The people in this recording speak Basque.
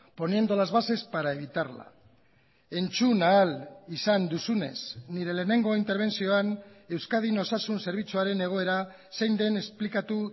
poniendo las bases para evitarla entzun ahal izan duzunez nire lehenengo interbentzioan euskadin osasun zerbitzuaren egoera zein den esplikatu